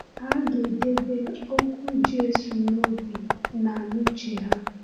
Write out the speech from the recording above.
Ha ga-edebe okwu Jésù n’obi na n’uche ha.